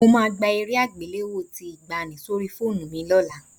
Mo máa gba eré àgbéléwò tí ìgbàanì sórí fóònù mi lọ́la